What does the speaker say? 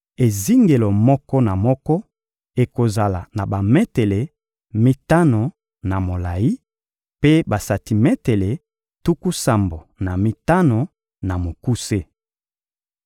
Ezingelo moko na moko ekozala na bametele mitano na molayi, mpe basantimetele tuku sambo na mitano na mokuse.